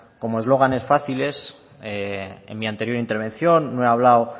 como eslóganes fáciles en mi anterior intervención no he hablado